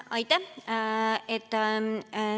Aitäh!